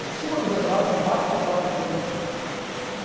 Em cima do zebrado, embaixo da placa de proibido.